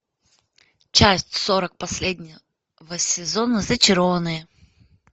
часть сорок последнего сезона зачарованные